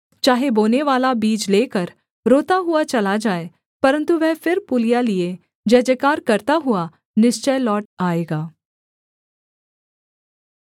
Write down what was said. चाहे बोनेवाला बीज लेकर रोता हुआ चला जाए परन्तु वह फिर पूलियाँ लिए जयजयकार करता हुआ निश्चय लौट आएगा